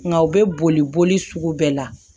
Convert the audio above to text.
Nka u bɛ boli boli sugu bɛɛ la